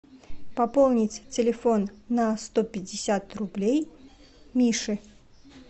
пополнить телефон на сто пятьдесят рублей мише